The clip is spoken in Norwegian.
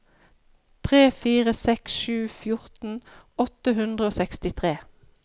tre fire seks sju fjorten åtte hundre og sekstitre